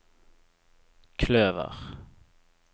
kløver